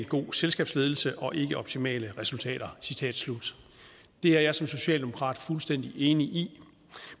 god selskabsledelse og ikke optimale resultater det er jeg som socialdemokrat fuldstændig enig i